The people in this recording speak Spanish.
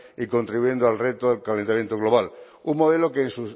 y contribuyendo al reto del calentamiento global un modelo que en